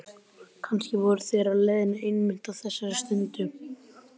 Kannski voru þeir á leiðinni einmitt á þessari stundu.